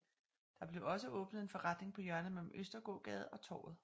Der blev også åbnet en forretning på hjørnet mellem Østergågade og Torvet